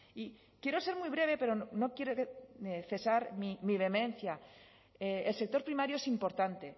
y quiero ser muy breve pero no quiero cesar mi vehemencia el sector primario es importante